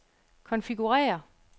konfigurér